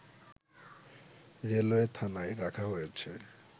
railway থানায় রাখা হয়েছে